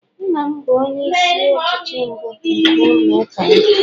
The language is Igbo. nna m bụ onye isi ọchịchị mbụ nke ụlọ uka ya